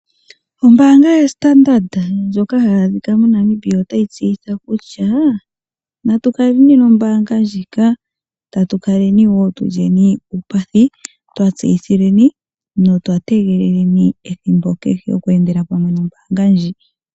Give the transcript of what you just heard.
Ombaanga yoStandard ndjoka hayi adhika moNamibia otayi tseyitha kutya aantu naya kale nombaanga ndjoka. Taya kala yeli uupathi yategelela ethimbo kehe okweendela pamwe nombaanga ndjoka.